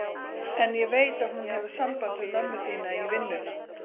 En ég veit að hún hefur samband við mömmu þína í vinnuna.